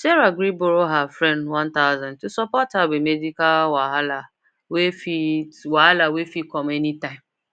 sarah gree borrow her friend one thousand to support her with medical wahala wey fit wahala wey fit com anytime